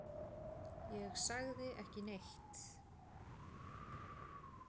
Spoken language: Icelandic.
Ég sagði ekki neitt.